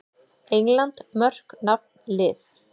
England: Mörk- Nafn- Lið.